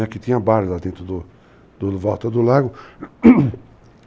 Né, que tinha bares lá dentro do do... em volta do lago.